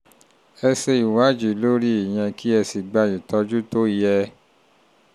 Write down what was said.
ẹ ṣe ìwádìí lórí ìyẹn kẹ́ ẹ sì gba ìtọ́jú tó yẹ